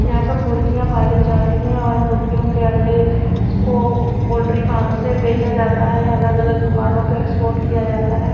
यहां पर मुर्गियां पाली जाती हैं और मुर्गियों के अंडे इसको पोल्ट्री फार्म से बेचा जाता हैया अलग-अलग दुकानों पर एक्सपोर्ट किया जाता है।